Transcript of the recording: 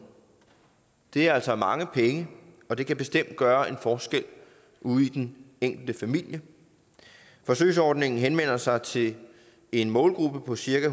det er altså mange penge og det kan bestemt gøre en forskel ude i den enkelte familie forsøgsordningen henvender sig til en målgruppe på cirka